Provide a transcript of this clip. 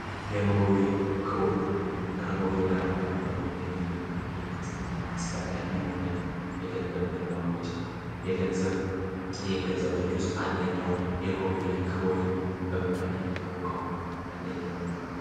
የኖርዌይ ግሩም ከኖርዌ ጋር ላለው የንግድና አስፈላጊ የሆነ አውጫ የገንዘብ የገንዘቦች ውስጥ አንደኛው የኖሩ የክሮዬን በመባል የሚታወቀው አንደኛው ነው።